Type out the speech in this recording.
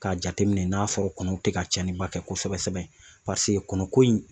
K'a jateminɛ n'a sɔrɔ kɔnɔw tɛ ka cɛnniba kɛ kosɛbɛ sɛbɛ paseke kɔnɔko in